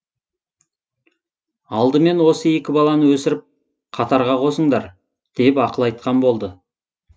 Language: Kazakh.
алдымен осы екі баланы өсіріп қатарға қосыңдар деп ақыл айтқан болды